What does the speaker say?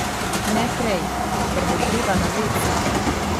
Ne prej, ker bo treba na vece.